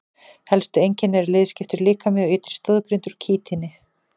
Helstu einkenni eru liðskiptur líkami og ytri stoðgrind úr kítíni.